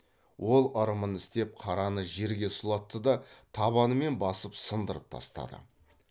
ол ырымын істеп қараны жерге сұлатты да табанымен басып сындырып тастады